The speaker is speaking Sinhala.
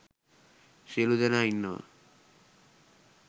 සියළු දෙනා ඉන්නවා.